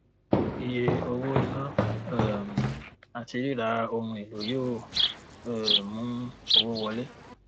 iye owó iná um àti ríra ohun èlò yóò um mu owó wọlé